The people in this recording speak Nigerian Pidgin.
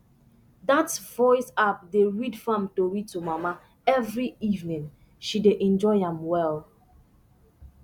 that voice app dey read farm tori to mama every evening she dey enjoy am well